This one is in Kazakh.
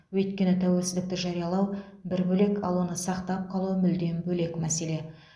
өйткені тәуелсіздікті жариялау бір бөлек ал оны сақтап қалу мүлдем бөлек мәселе